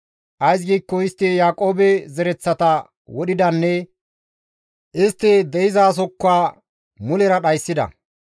Ays giikko istti Yaaqoobe zereththata wodhidanne istti de7izasozikka mulera dhayssida.